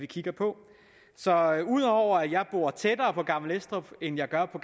kigget på så ud over at jeg bor tættere på gammel estrup end jeg gør på